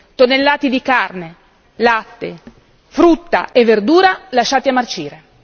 Tonnellate di carne, latte, frutta e verdura lasciati a marcire.